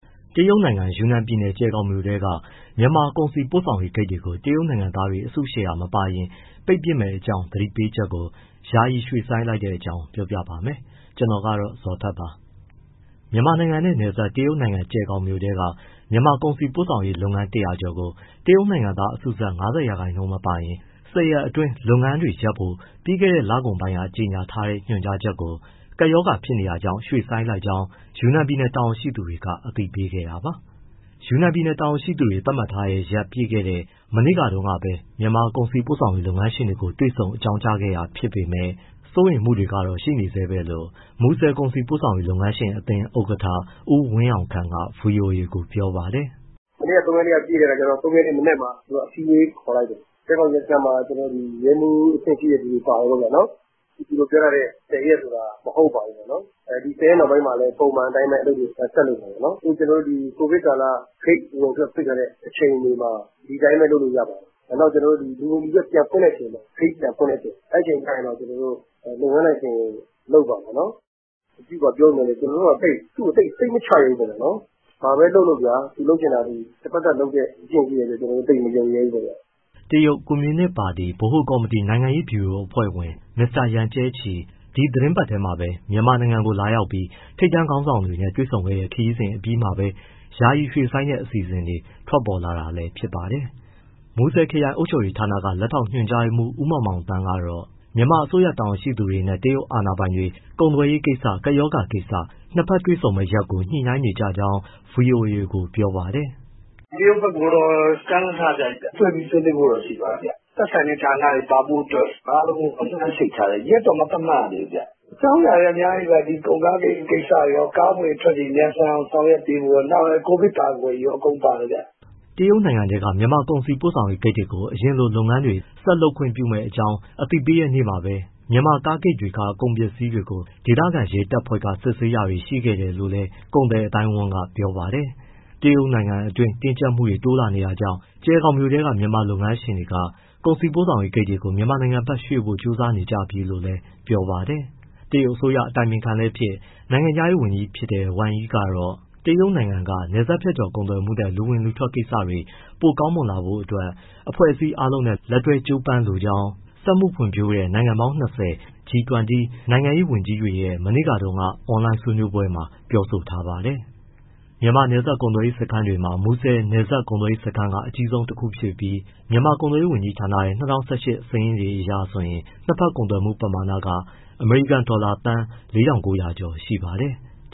တရုတ်နိုင်ငံ ယူနန်ပြည်နယ်၊ ကျယ်ဂေါင်မြို့က မြန်မာကုန်စည်ပို့ဆောင်ရေး ဂိတ်တွေကို တရုတ်နိုင်ငံသားတွေ အစုရှယ်ယာ မပါရင် ပိတ်ပစ်မယ့်အကြောင်း သတိပေးချက်ကို ယာယီရွှေ့ဆိုင်းလိုက်တဲ့အကြောင်း ပြောပြမှာပါ။ ဗွီအိုအေမြန်မာပိုင်း သတင်းထောက် ကိုဇော်ထက်က သတင်းပေးပို့ထားပါတယ်။ မြန်မာနိုင်ငံနဲ့နယ်စပ် တရုတ်နိုင်ငံကျယ်ဂေါင်မြို့ထဲက မြန်မာကုန်စည်ပို့ဆောင်ရေး လုပ်ငန်း ၁၀၀ ကျော်ကို တရုတ်နိုင်ငံသား အစုစပ် ၅၀ ရာခိုင်နှုန်း မပါရင် ၁၀ ရက်အတွင်း လုပ်ငန်းတွေရပ်ဖို့ ပြီးခဲ့တဲ့ လကုန်ပိုင်းက ကြေညာထားတဲ့ ညွှန်ကြားချက်ကို ကပ်ရောဂါကာ ဖြစ်တာကြောင့် ရွှေ့ဆိုင်းလိုက်ကြောင်း ယူနန်ပြည်နယ် တာဝန်ရှိသူတွေက အသိပေးခဲ့တာပါ။ ယူနန်ပြည်နယ်တာဝန်ရှိသူတွေ သတ်မှတ်ထားတဲ့ရက် ပြည့်ခဲ့တဲ့ မနေ့တုန်းကပဲ မြန်မာကုန်စည်ပို့ဆောင်ရေး လုပ်ငန်းရှင်တွေကို တွေ့ဆုံအကြောင်းခဲ့တာ ဖြစ်ပေမဲ့ စိုးရိမ်မှုတွေကတော့ ရှိနေဆဲပဲလို့လည်း မူဆယ်ကုန်စည်ပို့ဆောင်ရေး လုပ်ငန်းရှင်အသင်း ဥက္ကဋ္ဌ ဦးဝင်းအောင်ခန့်က ဗွီအိုအေကို ပြောပါတယ်။ “မနေ့က ၃ ရက်နေ့က ပြည့်တဲ့အခါကျတော့ ၃ ရက်နေ့ မနက်မှာ သူကအစည်းအဝေးခေါ်လိုက်တယ်။ ကျယ်ဂေါင်ရဲစခန်းမှာ ရဲမှူးအဆင့်ရှိတဲ့သူတွေ ပါတယ်ပေါ့ဗျာ။ သူတို့ပြောထားတဲ့ ၁၀ ရက်ဆိုတာ မဟုတ်ပါဘူးပေါ့။ ဒီ ၁၀ ရက်နောက်ပိုင်းမှာလည်း ပုံမှန်အတိုင်း အလုပ်တွေ ဆက်လုပ်ပါပေါ့။ အခု ကိုဗစ်ကာလ ဂိတ်အဝင်အထွက် ပိတ်ထားတဲ့ အခြေအနေမှာ ဒီအတိုင်းပဲ လုပ်လို့ရပါတယ်။ လူဝင်လူထွက် ဂိတ်ပြန်ဖွင့်တဲ့ အချိန်ကျရင်တော့ လုပ်ငန်းလိုင်စင် လုပ်ပါမယ်နော်။ အဲလိုပြောပေမဲ့ ကျနော်တို့က သူ့ကို သိပ်စိတ်မချရဲဘူးဗျာ၊ နော်။ ဘာပဲလုပ်လုပ် သူလုပ်ချင်တာ တဘက်သတ်လုပ်တဲ့ အကျင့်ရှိတဲ့အတွက် ကျနော်တို့ သိပ်မယုံရဲဘူးပေါ့။” တရုတ်ကွန်မြူနစ်ပါတီ ဗဟိုကော်မတီ နိုင်ငံရေးဗျူရိုအဖွဲ့ဝင် မစ္စတာယန်ကျဲ့ချီ ဒီသီတင်းပတ်ထဲမှာပဲ မြန်မာနိုင်ငံကို လာရောက်ပြီး ထိပ်တန်းခေါင်းဆောင်တွေနဲ့ တွေ့ဆုံခဲ့တဲ့ ခရီးစဉ် အပြီးမှာပဲ ယာယီရွှေ့ဆိုင်းတဲ့ အစီအစဉ်ထွက်ပေါ်လာတာလည်း ဖြစ်ပါတယ်။ မူဆယ်ခရိုင်အုပ်ချုပ်ရေးဌာနက လက်ထောက်ညွှန်ကြားရေးမှူး ဦးမောင်မောင်သန်းကတော့ မြန်မာအစိုးရ တာဝန်ရှိသူတွေနဲ့ တရုတ်အာဏာပိုင်တွေ ကုန်သွယ်ရေးကိစ္စ၊ ကပ်ရောဂါကိစ္စ နှစ်ဘက်တွေ့ဆုံဖို့ရက်ကို နှစ်ဘက်ညှိနှိုင်းနေကြကြောင်း ဗွီအိုအေကို ပြောပါတယ်။ “တရုတ်ဘက်ကိုတော့ ကမ်းလှမ်းထားတယ်ဗျ၊ တွေ့ပြီးဆွေးနွေးဖို့တော့ ရှိပါတယ်။ သက်ဆိုင်ရာ ဌာနတွေ ပါဖို့အတွက် အားလုံးလှမ်းချိတ်ထားတယ်။ ရက်တော့ မသတ်မှတ်ရသေးဘူး။ အကြောင်းအရာတွေက အများကြီးပါ ကုန်ကားကိစ္စတွေရော၊ ကားအဝင်အထွက်တွေ မြန်ဆန်အောင် ဆောင်ရွက်ပေးဖို့တွေရော၊ နောက် COVID ကာကွယ်ရေးရော အကုန်ပါတယ်ဗျ။” တရုတ်နယ်ထဲက မြန်မာကုန်စည်ပို့ဆောင်ရေး ဂိတ်တွေကို အရင်လို လုပ်ငန်းတွေ ဆက်လုပ်ခွင့်ပြုမယ့်အကြောင်း အသိပေးခဲ့တဲ့နေ့မှာပဲ မြန်မာကားဂိတ်တွေက ကုန်ပစ္စည်းတွေကို ဒေသခံတရုတ်ရဲတပ်ဖွဲ့က စစ်ဆေးတာတွေ ရှိခဲ့တယ်လို့လည်း ကုန်သည်အသိုင်းအဝန်းက ပြောပါတယ်။ တရုတ်နိုင်ငံတွင်းမှာ တင်းကြပ်မှုတွေ တိုးလာနေတာကြောင့်ကျယ်ဂေါင်မြို့က မြန်မာလုပ်ငန်းရှင်တွေက ကုန်စည်ပို့ဆောင်ရေးဂိတ်တွေကို မြန်မာနိုင်ငံဘက်ရွှေ့ဖို့ ကြိုးစားနေကြပြီလို့လည်း ပြောပါတယ်။ တရုတ်အစိုးရ အတိုင်ပင်ခံလည်းဖြစ် နိုင်ငံခြားရေးဝန်ကြီးဖြစ်တဲ့ ဝမ်ယိကတော့ တရုတ်နိုင်ငံက နယ်စပ်ဖြတ်ကျော်ကုန်သွယ်မှုနဲ့ လူအဝင်အထွက်ကိစ္စတွေ ပိုကောင်းမွန်လာဖို့ အဖွဲ့အစည်းအားလုံးနဲ့ လက်တွဲကြိုးပမ်းလိုကြောင်း စက်မှုဖွံ့ဖြိုးတဲ့ နိုင်ငံပေါင်း ၂၀၊ G20 နိုင်ငံခြားရေး ဝန်ကြီးတွေရဲ့ မနေ့တုန်းက အွန်လိုင်းဆွေးနွေးပွဲမှာ ပြောဆိုထားပါတယ်။ မြန်မာ နယ်စပ်ကုန်သွယ်ရေးစခန်းတွေထဲမှာ မူဆယ်နယ်စပ် ကုန်သွယ်ရေးစခန်းက အကြီးဆုံးတခုဖြစ်ပြီး ကုန်သွယ်ရေးဝန်ကြီးဌာန ၂၀၁၈ စာရင်းတွေအရဆိုရင် နှစ်ဘက်ကုန်သွယ်မှုပမာဏ အမေရိကန်ဒေါ်လာ သန်း ၄,၉၀၀ ကျော်ရှိပါတယ်။